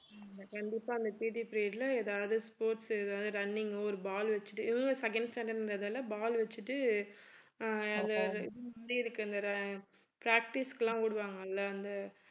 கண்டிப்பா அந்த PT period ல ஏதாவது sports உ ஏதாவது running உ ஒரு ball வச்சிட்டு இவங்க second standard ன்றதால ball வச்சிட்டு practice க்கு எல்லாம் ஓடுவாங்கல்ல அந்த